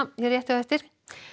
rétt á eftir